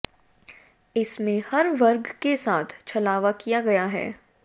इसमें हर वर्ग के साथ छलावा किया गया है